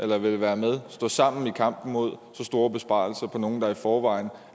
der vil være med så stå sammen i kampen mod så store besparelser for nogle der i forvejen